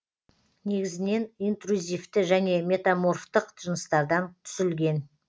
негізінен интрузивті және метаморфтық жыныстардан түзілген